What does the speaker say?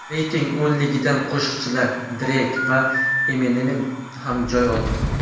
Reyting o‘nligidan qo‘shiqchilar Dreyk va Eminem ham joy oldi.